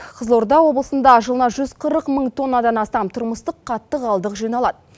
қызылорда облысында жылына жүз қырық мың тоннадан астам тұрмыстық қатты қалдық жиналады